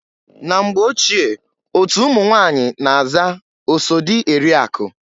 Na mgbe ochie otu ụmụnwanyị na-aza oso dị eri akụ.